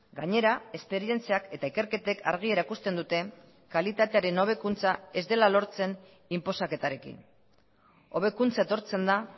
gainera esperientziak eta ikerketek argi erakusten dute kalitatearen hobekuntza ez dela lortzen inposaketarekin hobekuntza etortzen da